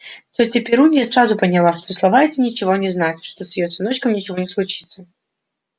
тётя перунья сразу поняла что слова эти ничего не значат что с её сыночком ничего не случится